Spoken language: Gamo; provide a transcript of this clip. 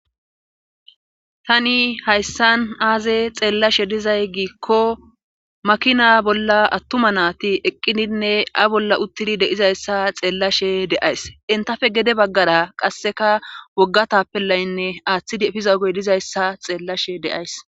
tani hayssan aaze xeellashe dizay giikko makina bolla attuma naati eqqidinne a bolla uttidi deizayssa xeellashe deays intafe gede baggara qasseka woggatappelaynne aaththid pizaugey dizayssa xeellashe deays